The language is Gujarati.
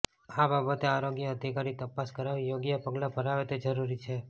આ બાબતે આરોગ્ય અધિકારી તપાસ કરાવી યોગ્ય પગલાં ભરાવે તે જરૂરી છે